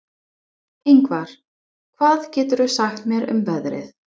Yngvar, hvað geturðu sagt mér um veðrið?